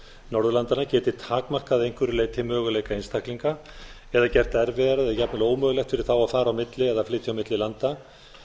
norðurlandanna geti takmarkað að einhverju leyti möguleika einstaklinga eða gert erfiðara eða jafnvel ómögulegt fyrir þá að fara á milli eða flytja á milli landa